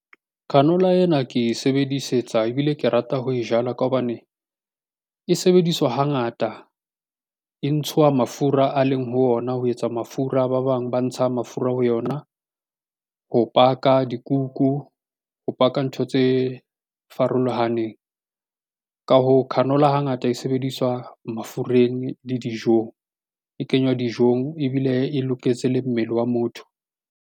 Canola ena ke e sebedisetsa ebile ke rata ho e jala ka hobane e sebediswa hangata e ntshwa mafura a leng ho ona ho etsa mafura ba bang ba ntsha mafura ho yona. Ho baka dikuku ho baka ntho tse farolohaneng. Ka hoo, canola hangata e sebediswa mafureng le dijong e kenywa dijong ebile e loketse le mmele wa motho.